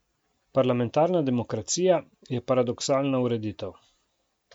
Parlamentarna demokracija je paradoksalna ureditev.